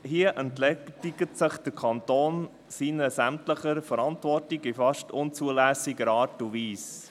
Hier entledigt sich der Kanton seiner gesamten Verantwortung in fast unzulässiger Art und Weise.